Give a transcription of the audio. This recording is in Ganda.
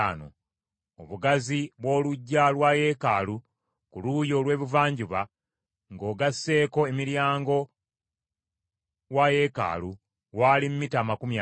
Obugazi bw’oluggya lwa yeekaalu ku luuyi olw’ebuvanjuba ng’ogasseeko emiryango wa yeekaalu waali mita amakumi ataano.